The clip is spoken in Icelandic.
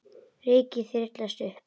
Rykið þyrlast upp.